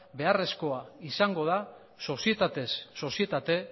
beharrezkoa izango da sozietatez sozietate